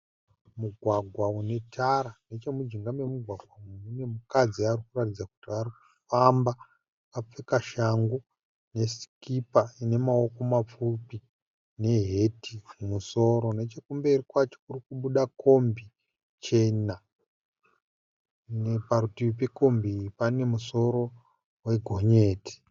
Mugwagwa une tara. Nechemujinga memumugwagwa mune mukadz ari kuratidza kuti ari kufamba. Akapfeka shangu nesikipa ine maoko mapfupi neheti mumusoro. Nechekumberi kwacho kuri kubuda kombi chena. Parutivi pekombi iyi pane musoro wegonyeti.